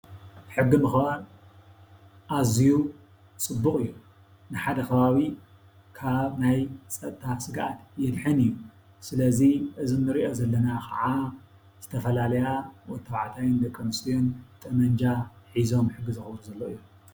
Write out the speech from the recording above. ሕጊ ምኽባር ኣዝዩ ፅቡቕ እዩ። ንሓደ ከባቢ ካብ ናይ ፀጥታ ስግኣት የድሕን እዩ። ስለዚ እዚ ንሪኦ ዘለና ክዓ ዝተፈላለያ ወዲ ተባዕታይን ደቂ ኣንስትዮን ጠበንጃ ሂዘም ዝሕግዝኦም ዘለዋ እዩ።